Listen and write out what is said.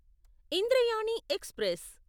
Indrayani express